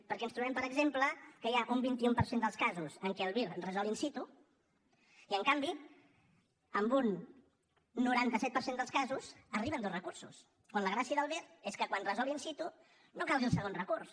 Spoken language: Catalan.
perquè ens trobem per exemple que hi ha un vint un per cent dels casos en què el vir resol in situ i en canvi en un noranta set per cent dels casos arriben dos recursos quan la gràcia del vir és que quan resol in situ no calgui el segon recurs